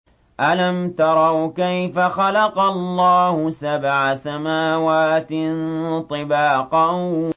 أَلَمْ تَرَوْا كَيْفَ خَلَقَ اللَّهُ سَبْعَ سَمَاوَاتٍ طِبَاقًا